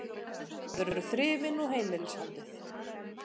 Það eru þrifin og heimilishaldið.